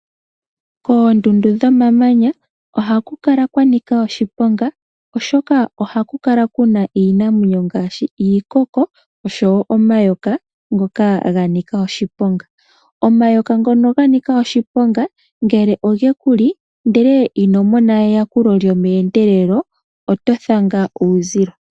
Koondundu dhomamanya ohaku kala kwa nika oshiponga, oshoka ohaku kala kuna iinamwenyo ngaashi iikoko oshowo omayoka ngoka ga nika oshiponga. Omayoka ngono ga nika oshiponga ngele oge kuli ndele ino mona eyakulo lyomeendelelo oto thanga uuzilo.